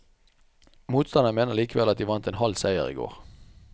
Motstanderne mener likevel at de vant en halv seier i går.